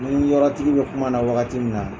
N ni yɔrɔ tigi bɛ kuma na wagati min na.